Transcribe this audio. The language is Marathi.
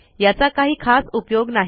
याचा काही खास उपयोग नाही